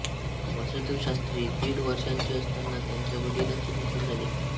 वासुदेवशास्त्री दीड वर्षांचे असताना त्यांच्या वडिलांचे निधन झाले